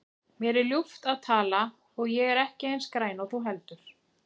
Mér er ljúft að tala og ég er ekki eins græn og þú heldur.